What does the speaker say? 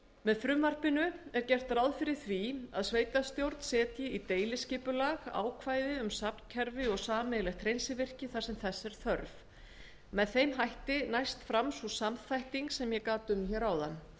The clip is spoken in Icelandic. með frumvarpinu er gert ráð fyrir því að sveitarstjórn setji í deiliskipulag ákvæði um safnkerfi og sameiginlegt hreinsivirki þar sem þess er þörf með þeim hætti næst fram sú samþætting sem ég gat um hér áðan